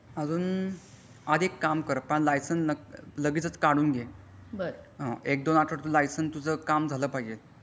अजून अधि एक काम कर लायसन लगेचच काढून घे एक दोन आठवडे लायसन तुझं काम झालं पाहिजे.